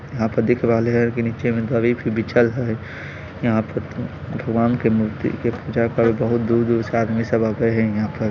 यहां पर दिख रहले हेय की नीचा मे दरी फिर बिछल हेय यहां पर भगवान के मूर्ति के पूजा करे बहुत दूर-दूर से आदमी सब आवे हेय यहां पर।